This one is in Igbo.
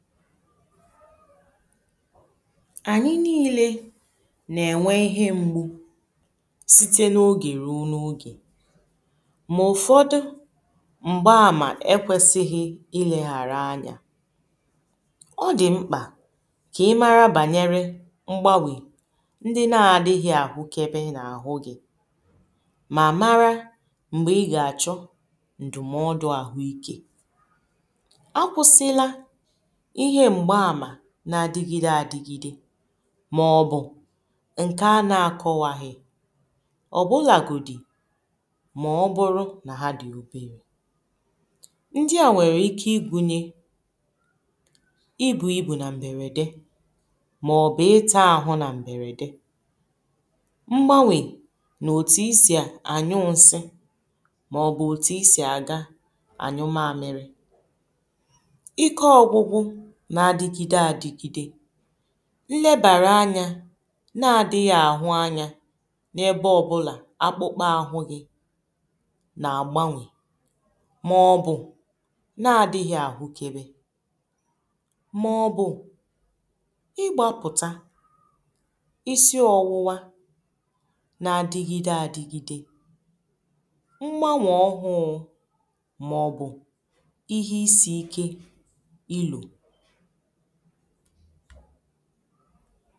ànyị niile nà-ènwe ihe mgbu site n’ogè ruo n’ogè mà ụ̀fọdụ m̀gbaàmà kwesịghị ilėghàrà anyȧ ọ dị̀ mkpà kà ị mara bànyere mgbanwè ndị na-adịghị̇ àhụkebe n’àhụ gị̇ mà mara m̀gbè ịgà àchọ ǹdùmọdụ àhụ ikė na-adịgide adịgide maọ̀bụ̀ ǹke a na-akọ̀waghị ọ̀bụlàgò dì maọ̀bụ̀rụ̀ nà ha dì obėrė ndị à nwèrè ike igwu̇nyė ịbụ̇ igbu̇ na mbèrède maọ̀bụ̀ itȧ àhụ na mbèrède mgbanwè nà òtù isì ànyụ nsi maọ̀bụ̀ òtù isì àga ànyụ mamịrị n’adigide adigide nlebàrà anya na-adighi àhụ anya n’ebe ọbụlà akpụkpọ àhụ ghi na-agbanwè maọ̀bụ̀ na-adighi àhụkebe maọ̀bụ̀ ị gbapùta isi ọwụwa na-adigide adigide mgbanwe ọhụụ maọ̀bụ̀ ihe isi ike ilo ha